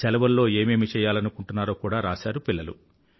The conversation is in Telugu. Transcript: శెలవులలో ఏమేమి చెయ్యాలనుకుంటున్నారో కూడా రాసారు పిల్లలు